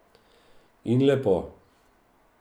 In lepo.